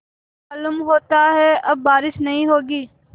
मालूम होता है अब बारिश नहीं होगी